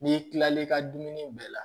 N'i kilal'i ka dumuni bɛɛ la